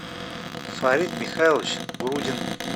фарид михайлович грудин